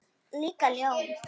Líka ljón.